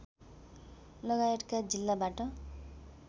लगायतका जिल्लाबाट